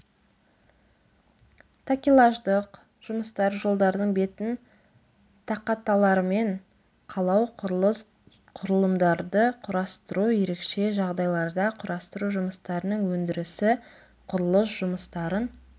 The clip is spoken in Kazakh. такелаждық жұмыстар жолдардың бетін тақаталармен қалау құрылыс құрылымдарды құрастыру ерекше жағдайларда құрастыру жұмыстарының өндірісі құрылыс жұмыстарын